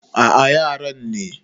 A a yaran ne.